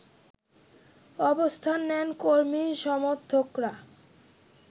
অবস্থান নেন কর্মী-সমর্থকরা